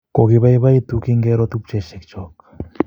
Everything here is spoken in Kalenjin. Kogipoipoitu kingero tupchosyek chok